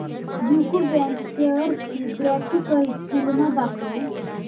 UCO bank shares ची graphical तुलना दाखव